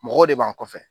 Mɔgɔw de b'a kɔfɛ